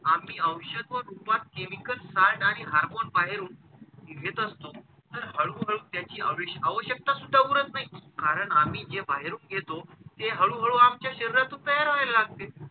आम्ही औषध रूपात chemical side आणि hormone बाहेरून घेत असतो तर हळूहळू त्याची आविष आवश्यकता सुद्धा उरत नाही. कारण आम्ही जे बाहेरून घेतो ते हळूहळू आमच्या शरीरातून तयार व्हायला लागते.